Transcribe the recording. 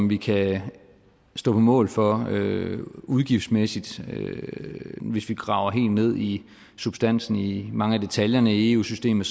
vi kan stå på mål for udgiftsmæssigt hvis vi graver helt ned i substansen i mange af detaljerne i eu systemet